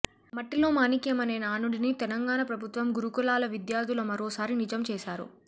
మట్టిలో మాణిక్యం అనే నానుడిని తెలంగాణ ప్రభుత్వ గురుకులాల విద్యార్థులు మరోసారి నిజం చేశారు